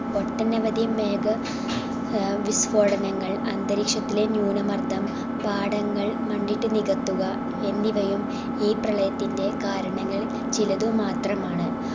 ഒട്ടനവധി മേഘ ഏർ വിസ്ഫോടനങ്ങൾ അന്തരീക്ഷത്തിലെ ന്യൂനമർദ്ദം പാടങ്ങൾ മണ്ണിട്ട് നികത്തുക എന്നിവയും ഈ പ്രളയത്തിന്റെ കാരണങ്ങളിൽ ചിലത് മാത്രമാണ്